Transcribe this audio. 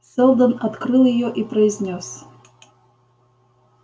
сэлдон открыл её и произнёс